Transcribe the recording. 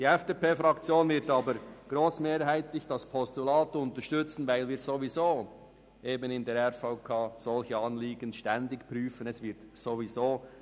Die FDP-Fraktion wird aber grossmehrheitlich das Postulat unterstützen, weil wir derartige Anliegen ohnehin ständig in der RVK prüfen.